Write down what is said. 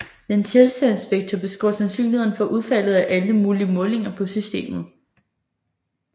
Denne tilstandsvektor beskriver sandsynlighederne for udfaldet af alle mulige målinger på systemet